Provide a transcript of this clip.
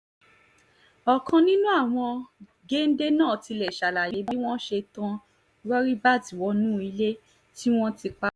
ọ̀kan nínú àwọn géńdé náà tilẹ̀ ṣàlàyé bí wọ́n ṣe tán rọríbat wọnú ilé tí wọ́n ti pa